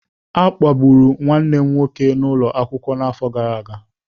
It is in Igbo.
A kpagburu nwanne m nwoke n'ụlọ akwụkwọ n'afọ gara aga.